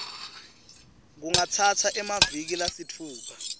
kungatsatsa emaviki lasitfupha